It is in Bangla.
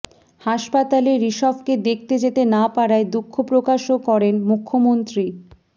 হাসপাতালে ঋষভকে দেখতে যেতে না পারায় দুঃখ প্রকাশও করেন মুখ্যমন্ত্রী